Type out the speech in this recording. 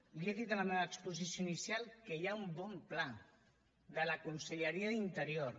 li he dit en la meva exposició inicial que hi ha un bon pla de la conselleria d’interior